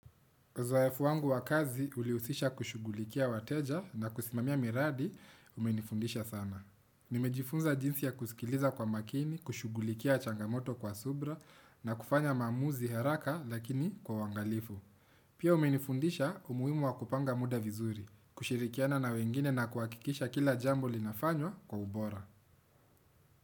Uzoefu wangu wa kazi ulihusisha kushughulikia wateja na kusimamia miradi, umenifundisha sana. Nimejifunza jinsi ya kusikiliza kwa makini, kushughulikia changamoto kwa subira na kufanya maamuzi haraka lakini kwa uangalifu. Pia umenifundisha umuhimu wa kupanga muda vizuri, kushirikiana na wengine na kuhakikisha kila jambo linafanywa kwa ubora.